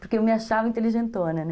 Porque eu me achava inteligentona, né?